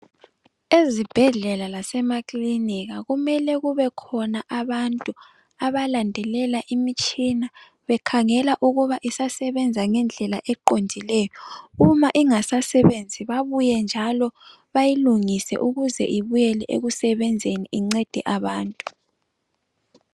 Ezibhedlela lasemakilinika kumele kube khona abantu abalandelela imitshina bekhangela ukuba iyasebenza ngendlela oqondileyo. Uma ingasebenzi babuye njalo bayilungise ukuze ibuyele ekusebenzeni incede abantu.